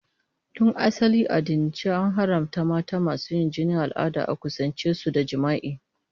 Tun asali a addinance, an haramta mata masu yin jinin al'ada a kusance su da jima'i.